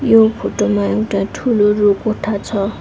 यो फोटो मा एउटा ठूलो रू कोठा छ।